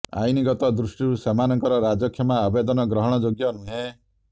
ଆଇନଗତ ଦୃଷ୍ଟିରୁ ସେମାନଙ୍କର ରାଜକ୍ଷମା ଆବେଦନ ଗ୍ରହଣ ଯୋଗ୍ୟ ନୁହେଁ